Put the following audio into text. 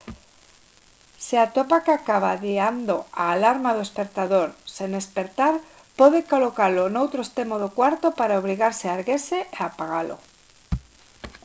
se atopa que acaba adiando a alarma do espertador sen espertar pode colocalo no outro extremo do cuarto para obrigarse a erguerse e apagalo